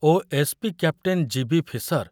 O SP. Captain GB. Fisher